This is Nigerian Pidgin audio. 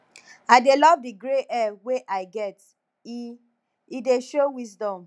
i dey love di grey hair wey i get e e dey show wisdom